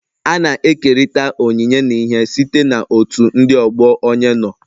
A na-ekerịta onyinye n'ihe site na otu ndị ọgbọ onye nọ.